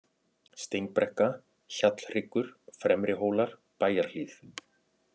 Steinbrekka, Hjallhryggur, Fremrihólar, Bæjarhlíð